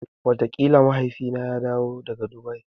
Wataƙila bayan Mahaifina ya dawo daga Dubai.